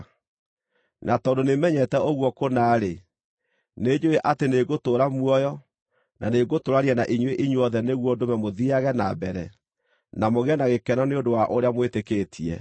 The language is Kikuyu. Na tondũ nĩmenyete ũguo kũna-rĩ, nĩnjũũĩ atĩ nĩngũtũũra muoyo, na nĩngũtũũrania na inyuĩ inyuothe nĩguo ndũme mũthiiage na mbere, na mũgĩe na gĩkeno nĩ ũndũ wa ũrĩa mwĩtĩkĩtie,